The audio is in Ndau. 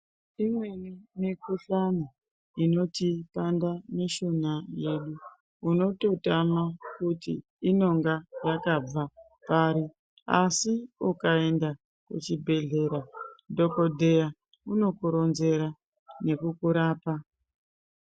Imweni mikhuhlani inotipanda mishuna yedu unototama kuti inonga yakabva pari, asi ukaenda kuchibhedhlera dhokodheya unokuronzera nekukurapa.